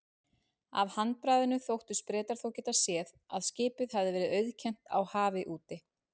Af handbragðinu þóttust Bretar þó geta séð, að skipið hefði verið auðkennt á hafi úti.